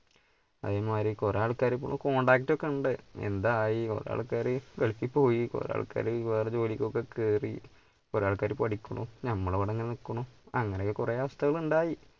അതേ മാരി കുറെ ആൾക്കാരൊക്കെ ഇപ്പോ contact ഒക്കെ ഉണ്ട് എന്തായി കുറെ ആൾക്കാര് ഗൾഫിൽ പോയി കുറെ ആൾക്കാര് വേറെ ജോലിക്ക് ഒക്കെ കേറി കുറെ ആൾക്കാര് പഠിക്കുണു നമ്മൾ ഇവിടെ ഇങ്ങനെ നിക്കുണു അങ്ങനെ ഒക്കെ കുറെ അവസ്ഥകൾ ഉണ്ടായി.